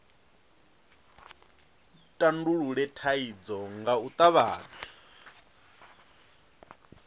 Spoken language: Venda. tandulule thaidzo nga u tavhanya